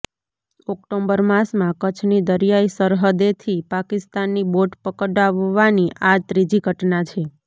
October માસમાં કચ્છની દરિયાઇ સરહદેથી પાકિસ્તાની બોટ પકડાવવાની આ ત્રીજી ઘટના છે